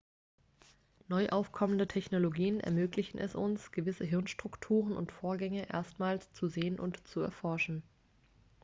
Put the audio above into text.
neu aufkommende technologien ermöglichen es uns gewisse gehirnstrukturen und vorgänge erstmals zu sehen und zu erforschen